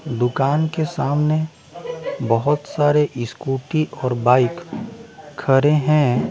दुकान के सामने बहुत सारे स्कूटी और बाइक खड़े हैं।